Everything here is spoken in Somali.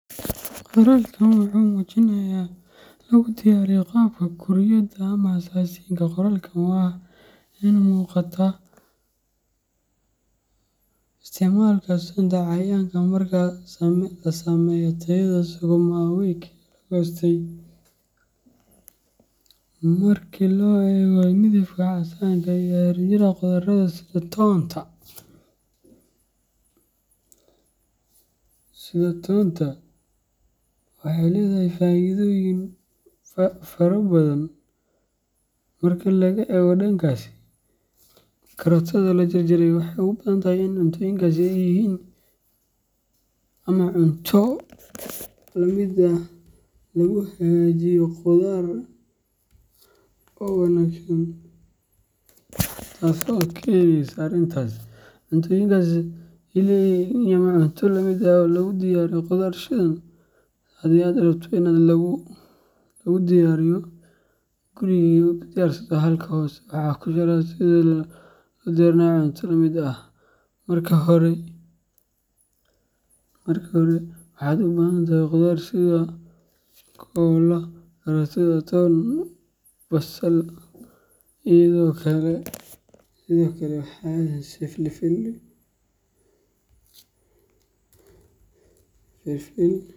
Qoralkan wuxuu mujinayaya lagu diyaariyo qaab Kuuriyada ah ama Aasiyaanka ah qoralkan waa ari fican, Ina Waxaa muuqata in uu yahay cunto khafiif ah oo basbaas iyo toon leh, laguna kaydiyay baakad caag ah oo si fiican loogu duubay filimka caagga ah. Marka loo eego midabka casaanka iyo xariijimaha khudradda sida toonta ama karootada la jarjaray, waxay u badan tahay in cuntooyinkaasi ay yihiin ama cunto la mid ah oo lagu diyaariyo khudaar shiidan. Haddii aad rabto inaad tan adigu guriga ku diyaarsato, halkan hoose waxaan ku sharaxayaa sida loo diyaariyo cunto la mid ah:Marka hore, waxaad u baahan tahay khudaar sida koolo , karootada, toon, basal, iyo sidoo kale xawaashyo sida filfil.